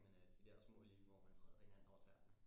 Men øh de der små lige hvor man træder hinanden over tæerne